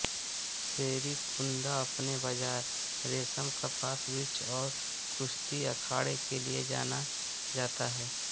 Serrekunda अपने बाज़ार रेशम कपास वृक्ष और कुश्ती अखाड़े के लिए जाना जाता है